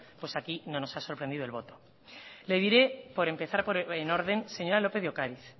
aquí no nos ha sorprendido el voto le diré por empezar el orden señora lópez de ocariz